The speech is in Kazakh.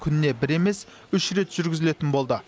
күніне бір емес үш рет жүргізілетін болды